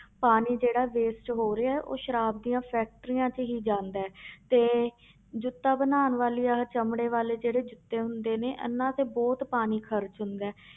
ਪਾਣੀ ਜਿਹੜਾ waste ਹੋ ਰਿਹਾ ਹੈ ਉਹ ਸਰਾਬ ਦੀਆਂ factories 'ਚ ਹੀ ਜਾਂਦਾ ਹੈ ਤੇ ਜੁੱਤਾ ਬਣਾਉਣ ਵਾਲੀਆਂ ਚਮੜੇ ਵਾਲੇ ਜਿਹੜੇ ਜੁੱਤੇ ਹੁੰਦੇ ਨੇ ਇਹਨਾਂ ਤੇ ਬਹੁਤ ਪਾਣੀ ਖ਼ਰਚ ਹੁੰਦਾ ਹੈ।